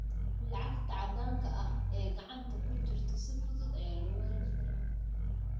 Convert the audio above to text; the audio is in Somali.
Lacagta caddaanka ah ee gacanta ku jirta si fudud ayaa loo waayi karaa.